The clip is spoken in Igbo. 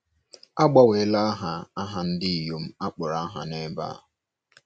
A gbanweela aha aha ndị inyom akpọrọ aha n’ebe a.